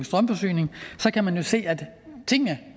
strømforsyning og så kan man jo se at tingene